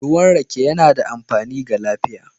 Ruwan rake yana da amfani ga lafiya